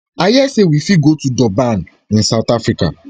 i hear say we fit go to durban [in south africa]